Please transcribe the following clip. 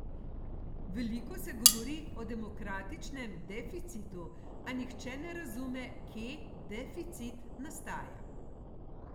Veliko se govori o demokratičnem deficitu, a nihče ne razume, kje deficit nastaja.